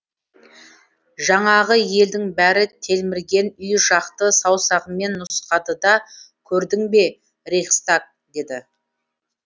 жаңағы елдің бәрі телмірген үй жақты саусағымен нұсқады да көрдің бе рейхстаг деді